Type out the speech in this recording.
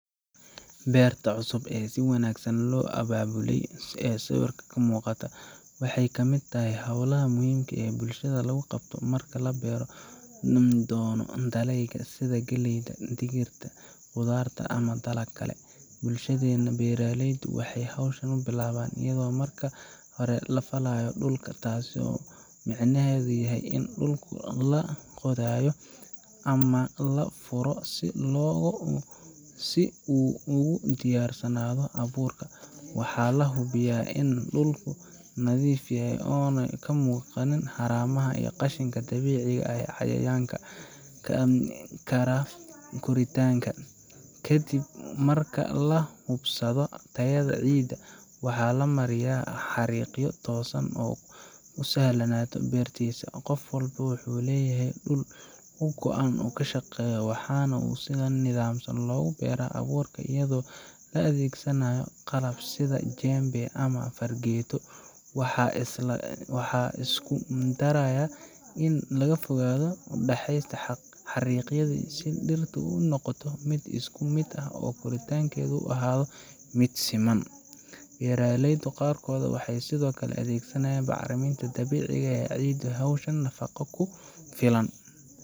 Beerta cusub ee si wanaagsan loo abaabulay ee sawirka ka muuqata waxay ka mid tahay hawlaha muhiimka ah ee bulshada lagu qabto marka la beeri doono dalagyada sida galleyda, digirta, khudaarta ama dalag kale. Bulshadeenna, beeraleydu waxay hawsha u bilaabaan iyadoo marka hore la falayo dhulka – taas oo micnaheedu yahay in dhulkii la qodayo ama la furo si uu ugu diyaarsanaado abuurka. Waxaa la hubiyaa in dhulku nadiif yahay oo aanay ka muuqan haramaha iyo qashinka dabiiciga ah ee carqaladeyn kara koritaanka geedaha. Ka dib marka la hubsado tayada ciidda, waxaa la mariyaa xariiqyo toosan si ay u sahlanaato beerista. Qof walba wuxuu leeyahay dhul u go’an oo uu ku shaqeeyo, waxaana si nidaamsan loogu beeraa abuurka iyadoo la adeegsanayo qalab sida jembe ama fargeeto. Waxaa la isku dayaa in fogaanta u dhaxaysa xariiqyada iyo dhirta ay noqoto mid isku mid ah si koritaanku u ahaado mid siman. Beeraleyda qaarkood waxay sidoo kale adeegsadaan bacriminta dabiiciga ah si ay ciiddu u hesho nafaqo ku filan